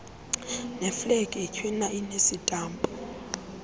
neeflegi itywina enesitampu